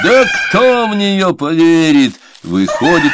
да кто в нее поверит выходит